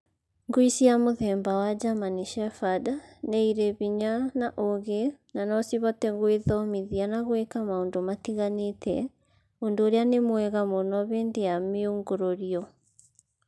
Ngui cia mũthemba wa germany shephered nĩiri hinya na ũgĩ, na nocihote gũĩthomithia na gũĩka maũndũ matiganĩte - ũndũ ũrĩa nĩ mwega mũno hĩndĩ ya mĩũngũrũrio